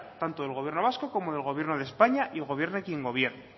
tanto del gobierno vasco como del gobierno de españa y gobierne quien gobierne